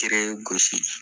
gosi.